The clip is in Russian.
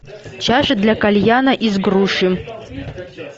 чаша для кальяна из груши